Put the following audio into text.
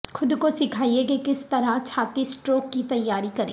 خود کو سیکھائیں کہ کس طرح چھاتیسٹروک کی تیاری کریں